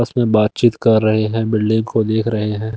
आपस में बातचीत कर रहे हैं बिल्डिंग को देख रहे हैं।